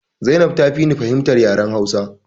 Zainab ta fi ni fahimtar yaren hausa